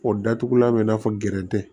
O datugulan bɛ i n'a fɔ gɛrɛntɛ